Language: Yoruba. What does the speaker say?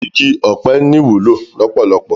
Igi òpè ni iwúló lópólópó